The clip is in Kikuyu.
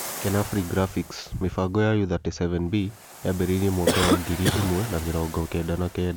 kenafri graphics, mĩbango ya Ũ-37B yaambĩrĩirie mwaka wa ngiri ĩmwe na mĩromgo kenda na kenda